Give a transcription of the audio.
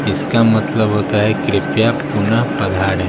इसका मतलब होता है कृपया पुनः पधारे।